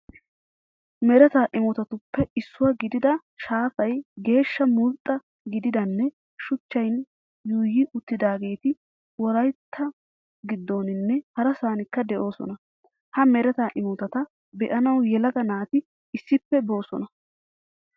Mereta imotatuppe issuwaa gidida shaafay geeshsha mulxxa gididanne shuchchan yuuyi uttidaageeti wolayitta giddoninne harasankka de'oosona. Ha mereta imotata be"anawu yelaga naati issippe boosona.